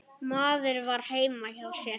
Maður var heima hjá sér.